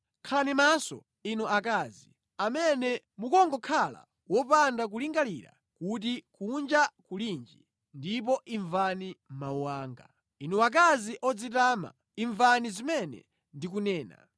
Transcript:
Khalani maso, inu akazi amene mukungokhala wopanda kulingalira kuti kunja kulinji ndipo imvani mawu anga. Inu akazi odzitama, imvani zimene ndikunena!